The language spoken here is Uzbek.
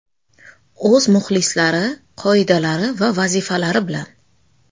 O‘z muxlislari, qoidalari va vazifalari bilan.